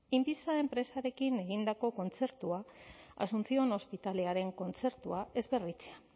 inbisa enpresarekin egindako kontzertua asuncion ospitalearen kontzertua ez berritzea